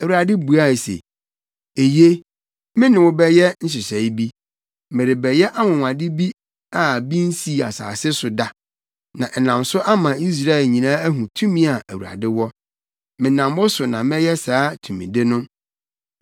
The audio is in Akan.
Awurade buae se, “Eye, me ne wo bɛyɛ nhyehyɛe bi. Merebɛyɛ anwonwade bi a bi nsii asase so da, na ɛnam so ama Israelfo nyinaa ahu tumi a Awurade wɔ. Menam wo so na mɛyɛ saa tumide no.